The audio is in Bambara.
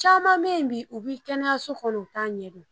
Caman me yen bi u bi kɛnɛyaso kɔnɔ u t'a ɲɛdɔn